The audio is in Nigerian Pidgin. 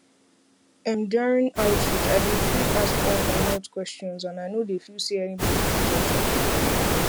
emduring outreach i dey free ask all my health questions um and um i no dey um feel say anybody dey judge me